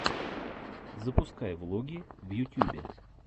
запускай влоги в ютюбе